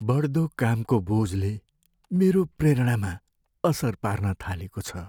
बढ्दो कामको बोझले मेरो प्रेरणामा असर पार्न थालेको छ।